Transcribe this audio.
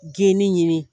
Geni ɲini